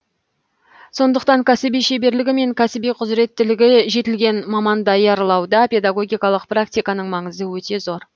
сондықтан кәсіби шеберлігі мен кәсіби құзіреттілігі жетілген маман даярлауда педагогикалық практиканың маңызы өте зор